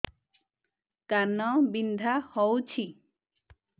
କାନ ବିନ୍ଧା ହଉଛି